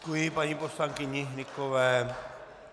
Děkuji paní poslankyni Hnykové.